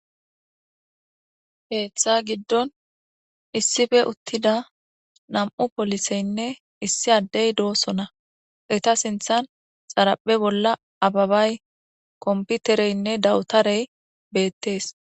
Keeththa giddon issife uttida nam7u poliseynne issi addey doosona eta sinthan xaraphe bolla ababay komputereynne dawutarey beettees